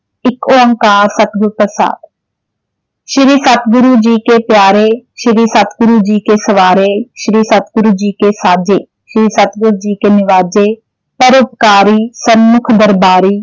ਏਕ ਓਂਕਾਰ ਸਤਿਗੁਰ ਪ੍ਰਸ਼ਾਦ ਸ਼੍ਰੀ ਸਤਿਗੁਰੂ ਜੀ ਕੇ ਪਿਆਰੇ, ਸ਼੍ਰੀ ਸਤਿਗੁਰੂ ਜੀ ਕੇ ਸਵਾਰੇ, ਸ਼੍ਰੀ ਸਤਿਗੁਰੂ ਜੀ ਕੇ ਸਾਜੇ, ਸ਼੍ਰੀ ਸਤਿਗੁਰੂ ਜੀ ਕੇ ਨਿਵਾਜੇ ਪਰਉਪਕਾਰੀ ਸਨਮੁੱਖ ਦਰਬਾਰੀ।